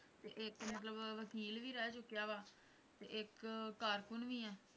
ਤੇ ਇੱਕ ਮਤਲਬ ਵਕੀਲ ਵੀ ਰਹਿ ਚੁੱਕਿਆ ਵਾ, ਤੇ ਇੱਕ ਕਾਰਕੂਨ ਵੀ ਹੈ।